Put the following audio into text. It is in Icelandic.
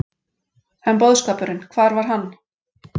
En boðskapurinn, hvar var hann?